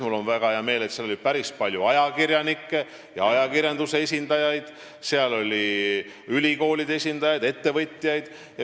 Mul on väga hea meel, et seal oli ka päris palju ajakirjanikke ja ajakirjanduse esindajaid, samuti ülikoolide esindajaid ja ettevõtjaid.